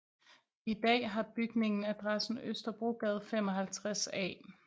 I dag har bygningen adressen Østerbrogade 55A